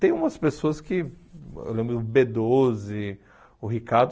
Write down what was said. Tem umas pessoas que... Eu lembro o bê doze, o Ricardo.